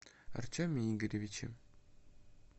артеме игоревиче